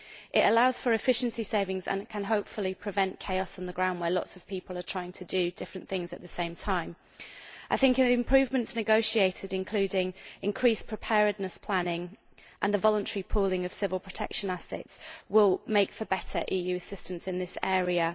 It allows for efficiency savings and can, hopefully, prevent chaos on the ground where lots of people are trying to do different things at the same time. The improvements negotiated, including increased preparedness planning and the voluntary pooling of civil protection assets, will make for better EU assistance in this area.